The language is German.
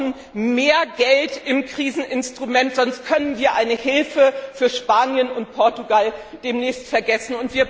Wir brauchen mehr Geld im Kriseninstrument, sonst können wir eine Hilfe für Spanien und Portugal demnächst vergessen.